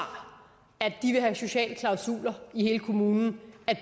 at de vil have sociale klausuler i hele kommunen